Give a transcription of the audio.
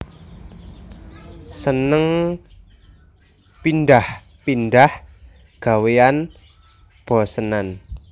Seneng pindhah pindhah gawéan bosenan